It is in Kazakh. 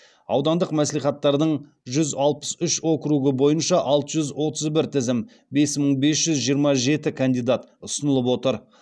аудандық мәслихаттардың жүз алпыс үш округі бойынша алты жүз отыз бір тізім ұсынылып отыр